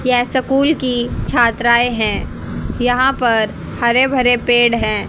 यह स्कूल की छात्राएं हैं यहां पर हरे भरे पेड़ है।